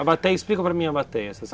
A bateia, explica para mim a bateia.